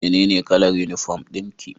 Menene kalar uniform dinki?